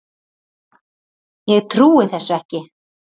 Ég trúi þessu ekki.